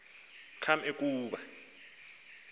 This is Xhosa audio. kaml e kuba